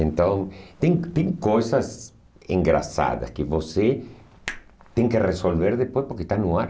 Então, tem tem coisas engraçadas que você tem que resolver depois, porque está no ar.